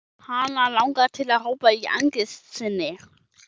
Hana langar til að hrópa í angist sinni.